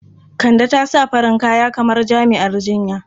Kande ta sa farin kaya kamar jami'ar jinya.